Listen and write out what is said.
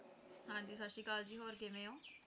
ਹਾਂ ਜੀ ਸਤਿ ਸ਼੍ਰੀ ਅਕਾਲ ਜੀ ਹੋਰ ਕਿਵੇਂ ਹੋ